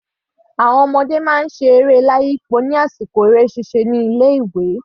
Àwọn ọmọdé máa ń ṣe eré merry-go-round ní àsìkò eré ṣíṣe ní ilé ìwé.